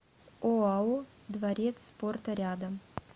оао дворец спорта рядом